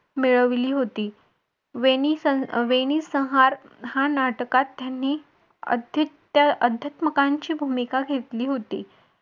मिळवली होती वेणीस वेणीसंहार या नाटकात त्यांनी भूमिका घेतली होती.